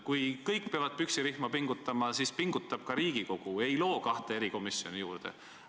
Kui kõik peavad püksirihma pingutama, siis las pingutab ka Riigikogu ja ei loo kahte erikomisjoni juurde.